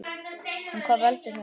En hvað veldur honum?